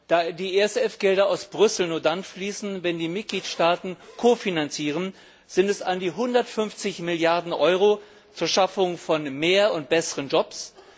Da die ESF Gelder aus Brüssel nur dann fließen, wenn die Mitgliedstaaten kofinanzieren, sind es an die 150 Milliarden Euro zur Schaffung von mehr und besseren Jobs.